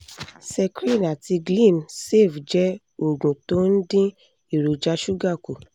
secrin àti glim cs] save jẹ́ oògùn tó ń dín èròjà ṣúgà kù